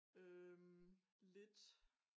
Øh lidt